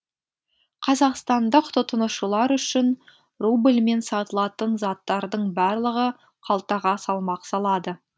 қазақстандық тұтынушылар үшін рубльмен сатылатын заттардың барлығы қалтаға салмақ салады